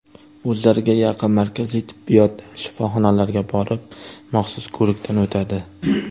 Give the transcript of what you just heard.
O‘zlariga yaqin markaziy tibbiyot shifoxonalariga borib maxsus ko‘rikdan o‘tadi.